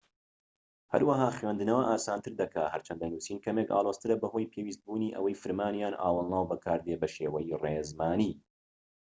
هەروەها خوێندنەوە ئاسانتر دەکات هەرچەندە نوسین کەمێك ئالۆزترە بەهۆی پێویستبوونی ئەوەی فرمان یان ئاوەڵناو بەکاردێت بەشێوەی ڕێزمانی